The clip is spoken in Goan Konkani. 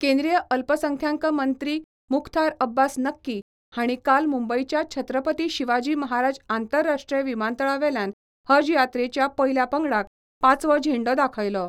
केंद्रीय अल्पसंख्यांक मंत्री मुख्तार अब्बास नक्की हांणी काल मुंबयच्या छत्रपती शिवाजी महाराज आंतराष्ट्रीय विमानतळावेल्यान हज यात्रेच्या पयल्या पंगडाक पांचवो झेंडो दाखयलो.